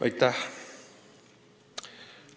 Aitäh!